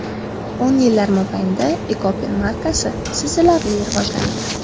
O‘n yillar mobaynida Ekopen markasi sezilarli rivojlandi.